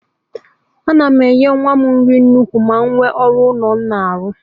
A na m enye nwa m nri dị ukwuu ma nwe ọrụ ụlọ m na-arụ